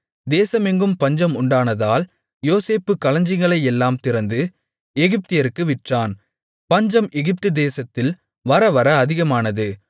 தேசமெங்கும் பஞ்சம் உண்டானதால் யோசேப்பு களஞ்சியங்களையெல்லாம் திறந்து எகிப்தியருக்கு விற்றான் பஞ்சம் எகிப்துதேசத்தில் வரவர அதிகமானது